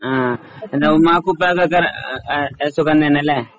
ആഹ് പിന്നെ ഉമ്മാക്കും ഉപ്പാക്കും ഒക്കെ ആഹ് ആഹ് സുഖം തന്നെയല്ലേ?